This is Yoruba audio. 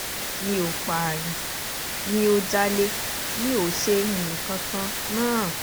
mi ò pààyàn mi o jalè mi ò ṣe nǹkan kan náà